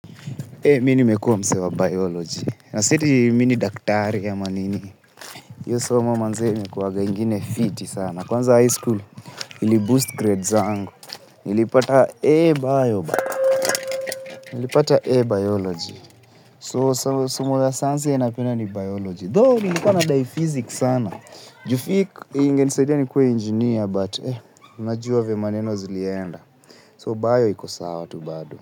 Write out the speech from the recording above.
Eei, minimekua mse wa Biology. Na sieti mi ni daktari ama nini. Iyo somo manze imekuwaga ingine fiti sana. Kwanza high school, ili boost grade zangu. Nilipata A Bio bana. Nilipata A Bioloji. So, somo la sayansi yenye napenda ni bioloji. Though, nilikuwa nadai fizikis sana. Juu fiki, ingenisaidia ni kuwe injinia, but, unajua venye maneno zilienda. So, Bio iko sawa tu bado.